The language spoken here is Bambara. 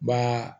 Ma